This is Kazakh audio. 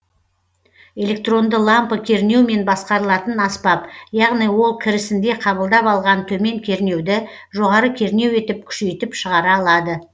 электронды лампы кернеумен басқарылатын аспап яғни ол кірісінде қабылдап алған төмен кернеуді жоғары кернеу етіп күшейтіп шығара алады